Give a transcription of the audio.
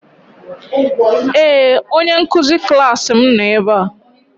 Ee! Onye nkụzi klaasị m nọ ebe a.